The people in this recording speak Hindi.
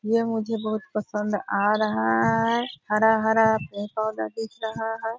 ये मुझे बहुत पसंद आ रहा है। हरा-हरा पेड़-पौधा दिख रहा है।